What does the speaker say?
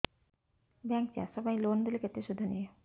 bank ଚାଷ ପାଇଁ loan ଦେଲେ କେତେ ସୁଧ ନିଏ